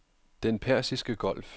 Den Persiske Golf